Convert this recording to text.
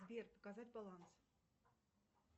сбер показать баланс